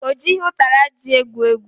Ọ jighị ụtara ji egwu egwu